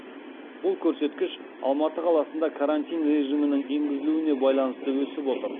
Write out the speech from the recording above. бұл көрсеткіш алматы қаласында карантин режимінің енгізілуіне байланысты өсіп отыр